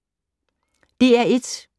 DR1